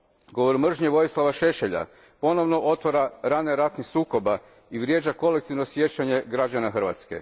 Govor mržnje Vojislava Šešelja ponovno otvara rane ratnih sukoba i vrijeđa kolektivno sjećanje građana Hrvatske.